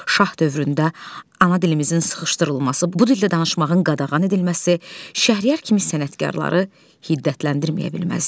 Şah dövründə ana dilimizin sıxışdırılması, bu dildə danışmağın qadağan edilməsi Şəhriyar kimi sənətkarları hiddətləndirməyə bilməzdi.